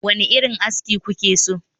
Wane irin aski kuke son yi?